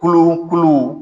Kolo kolo